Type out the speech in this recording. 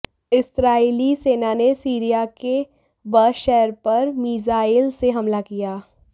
इस्राईली सेना ने सीरिया के बअस शहर पर मीज़ाईल से हमला किया